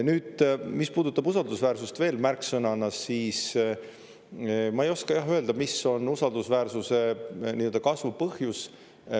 Nüüd, mis puudutab usaldusväärsust veel märksõnana, siis ma ei oska, jah, öelda, mis on usaldusväärsuse kasvu põhjus.